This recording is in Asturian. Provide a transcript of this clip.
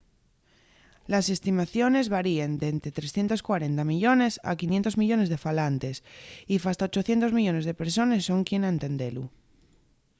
les estimaciones varien d’ente 340 millones a 500 millones de falantes y fasta 800 millones de persones son quien a entendelu